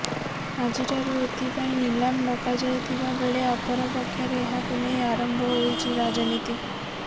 ଆଜିଠାରୁ ଏଥିପାଇଁ ନିଲାମ ଡକାଯାଇଥିବା ବେଳେ ଅପରପକ୍ଷରେ ଏହାକୁ ନେଇ ଆରମ୍ଭ ହୋଇଛି ରାଜନୀତି